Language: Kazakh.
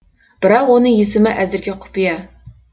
бірақ оның есімі әзірге құпия